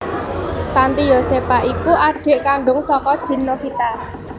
Tanty Yosepha iku adhik kandhung saka Dien Novita